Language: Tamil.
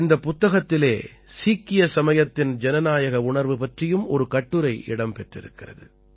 இந்தப் புத்தகத்திலே சீக்கிய சமயத்தின் ஜனநாயக உணர்வு பற்றியும் ஒரு கட்டுரை இடம் பெற்றிருக்கிறது